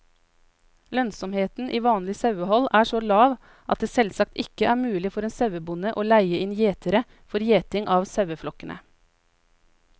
Lønnsomheten i vanlig sauehold er så lav at det selvsagt ikke er mulig for en sauebonde å leie inn gjetere for gjeting av saueflokkene.